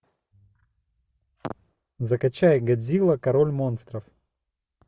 закачай годзилла король монстров